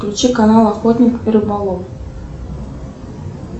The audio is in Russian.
включи канал охотник и рыболов